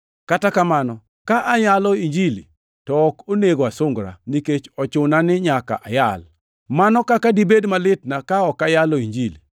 Kata kamano, ka ayalo Injili, to ok onego asungra, nikech ochuna ni nyaka ayal. Mano kaka dibed malitna ka ok ayalo Injili!